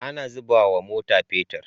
Ana zubawa mota petir